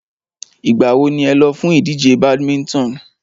Ìgbà wo ni ẹ lọ fún ìdíje badminton?